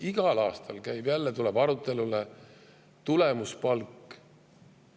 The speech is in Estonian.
Igal aastal tuleb jälle arutelule tulemuspalk.